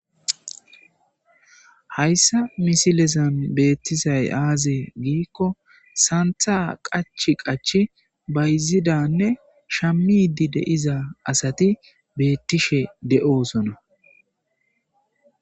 Hayssan misilezan beettizay aaze giikko santha qachi qachi bayzidaaanne shammiiddi de7iza asati beettishe de7oosona.